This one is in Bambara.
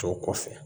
Tɔw kɔfɛ